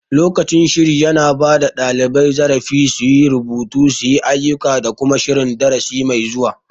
Lokacin shiri yana bada ɗalibai zarafi su yi rubutu, suyi ayuka da kuma shirin darasi mai zuwa